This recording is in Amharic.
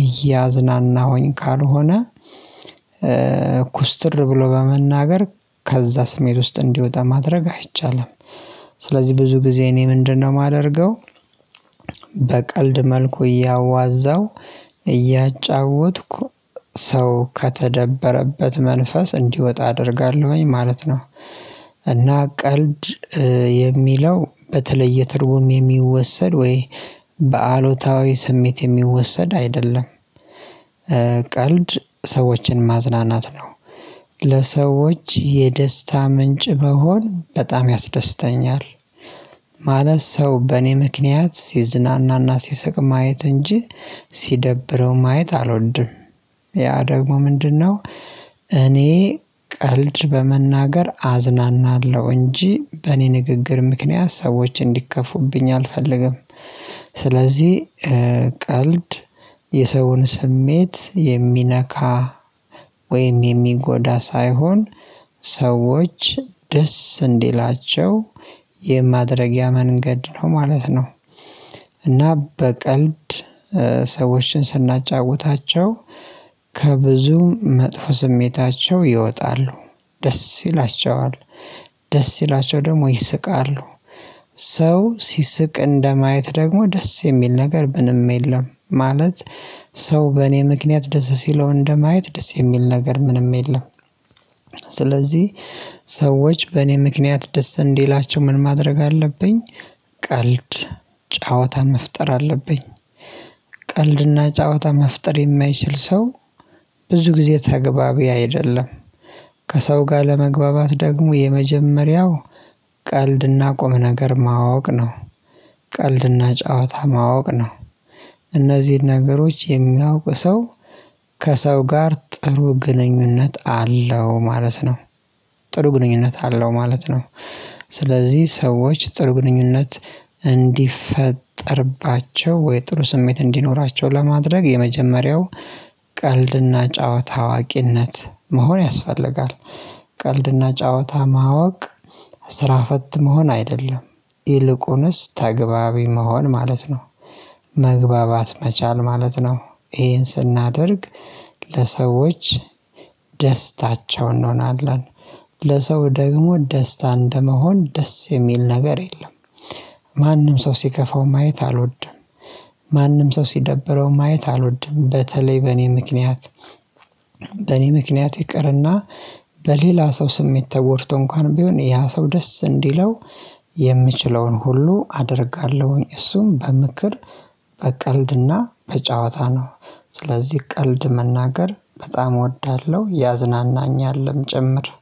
እያዝናናሁኝ ካልሆነ ኩስትር ብሎ በመናገር ከዛ ስሜት ውስጥ እንዲወጣ ማድረግ አይቻልም። ስለዚህ ብዙ ጊዜ እኔ ምንድነው የማደርገው በቀልድ መልኩ እያዋዛው፣ እያጫወትኩ፣ ሰው ከተደበረበት መንፈስ እንዲወጣ አደርጋለሁኝ ማለት ነው። እና ቀልድ የሚለው በተለየ ትርጉም የሚወሰድ ወይ በአሉታዊ ስሜት የሚወሰድ አይደለም። ቀልድ ሰዎችን ማዝናናት ነው። ለሰዎች የደስታ ምንጭ ብሆን በጣም ያስደስተኛል። ማለት ሰው በእኔ ምክንያት ሲዝናናና ሲስቅ ማየት እንጂ ሲደብረው ማየት አልወድም። ያ ደግሞ ምንድነው እኔ ቀልድ በመናገር አዝናናለሁ እንጂ በእኔ ንግግር ምክንያት ሰዎች እንዲከፉብኝ አልፈልግም። ስለዚህ ቀልድ የሰውን ስሜት የሚነካ ወይም የሚጎዳ ሳይሆን ሰዎች ደስ እንዲላቸው የማድረግያ መንገድ ነው ማለት ነው። እና በቀልድ ሰዎችን ስናጫውታቸው ከብዙ መጥፎ ስሜታቸው ይወጣሉ። ደስ ይላቸዋል ደስ ይላቸው ደግሞ ይስቃሉ። ሰው ሲስቅ እንደማየት ደግሞ ደስ የሚል ነገር ምንም የለም። ማለት ሰው በእኔ ምክንያት ደስ ሲለው እንደማየት ደስ የሚል ነገር ምንም የለም። ስለዚህ ሰዎች በእኔ ምክንያት ደስ እንዲላቸው ምን ማድረግ አለብኝ ቀልድ ጨዋታ መፍጠር አለብኝ። ቀልድና ጨዋታ መፍጠር የማይችል ሰው ብዙ ጊዜ ተግባቢ አይደለም። ከሰው ጋር ለመግባባት ደግሞ የመጀመሪያው ቀልድና ቁም ነገር ማወቅ ነው። ቀልድና ጨዋታ ማወቅ ነው። እነዚህን ነገሮች የሚያውቅ ሰው ከሰው ጋር ጥሩ ግንኙነት አለው ማለት ነው። ጥሩ ግንኙነት አለው ማለት ነው። ስለዚህ ሰዎች ጥሩ ግንኙነት እንዲፈጠርባቸው ወይ ጥሩ ስሜት እንዲኖራቸው ለማድረግ የመጀመሪያው ቀልድና ጨዋታ አዋቂነት መሆን ያስፈልጋል። ቀልድና ጨዋታ ማወቅ ስራ ፈት መሆን አይደለም። ይልቁንስ ተግባቢ መሆን ማለት ነው። መግባባት መቻል ማለት ነው። ይሄን ስናደርግ ለሰዎች ደስታቸው እንሆናለን። ለሰው ደግሞ ደስታ እንደመሆን ደስ የሚል ነገር የለም። ማንም ሰው ሲከፋው ማየት አልወድም። ማንም ሰው ሲደብረው ማየት አልወድም። በተለይ በእኔ ምክንያት በእኔ ምክንያት ይቅርና በሌላ ሰው ስሜት ተጎድቶ እንኳን ቢሆን ያ ሰው ደስ እንዲለው የምችለውን ሁሉ አደርጋለሁኝ። እሱም በምክር፣ በቀልድና በጨዋታ ነው። ስለዚህ ቀልድ መናገር በጣም እወዳለሁ ያዝናናኛልም ጭምር።